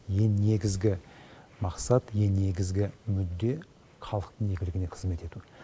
ең негізгі мақсат ең негізгі мүдде халықтың игілігіне қызмет ету